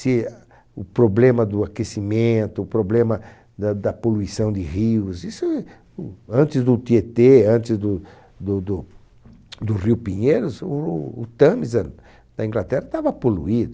Se o problema do aquecimento, o problema da da poluição de rios, isso eh, o, antes do Tietê, antes do do do do Rio Pinheiros, o o Tâmisa da Inglaterra estava poluído.